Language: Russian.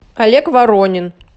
олег воронин